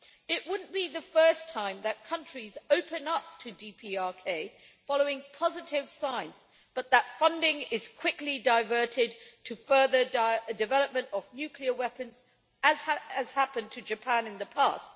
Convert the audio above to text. It wouldn't be the first time that countries open up to DPRK following positive signs, but that funding is quickly diverted to further development of nuclear weapons, as has happened to Japan in the past.